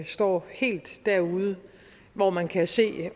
står helt derude hvor man kan se